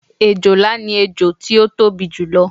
òjòlá ni ẹjọ tí ó tóbi jù lọ